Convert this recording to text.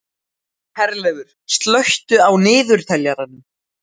Herleifur, slökktu á niðurteljaranum.